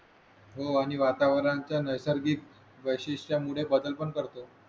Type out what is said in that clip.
हो आणि वातावरणाच्या नैसर्गिक व्यशिष्ट्यामुळे बदल पण करतो